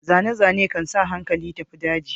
Zane-zane kan sa hankali tafi daji.